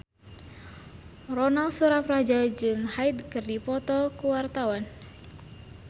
Ronal Surapradja jeung Hyde keur dipoto ku wartawan